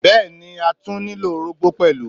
Bẹ́ẹ̀ni, a tún nílò orógbó pẹ̀lú.